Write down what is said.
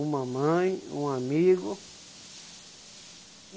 Uma mãe, um amigo.